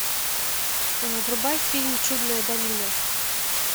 врубай фильм чудная долина